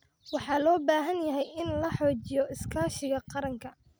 Waxa loo baahan yahay in la xoojiyo iskaashiga qaranka.